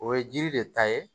O ye jiri de ta ye